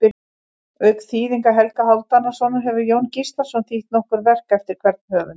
Auk þýðinga Helga Hálfdanarsonar hefur Jón Gíslason þýtt nokkur verk eftir hvern höfund.